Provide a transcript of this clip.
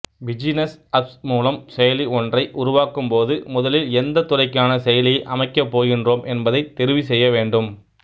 பிஜூனஸ்அப்ஸ் மூலம் செயலி ஒன்றை உருவாக்கும் போது முதலில் எந்தத் துறைக்கான செயலியை அமைக்கப் போகின்றோம் என்பதைத் தெரிவு செய்யவேண்டும்